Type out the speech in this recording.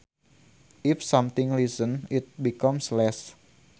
If something lessens it becomes less